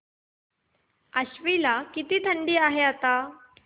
आश्वी ला किती थंडी आहे आता